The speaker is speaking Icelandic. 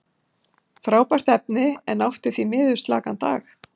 Frábært efni, en átti því miður slakan dag.